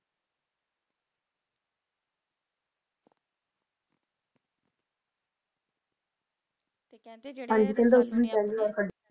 ਤੇ ਕਹਿੰਦੇ ਜਿਹੜੇ Rasalu ਨੇ ਆਪਣੇ